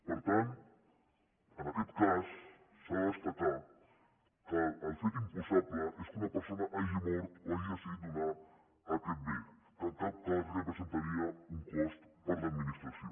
per tant en aquest cas s’ha de destacar que el fet imposable és que una persona hagi mort o hagi decidit donar aquest bé que en cap cas representaria un cost per a l’administració